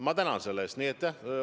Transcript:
Ma tänan selle eest!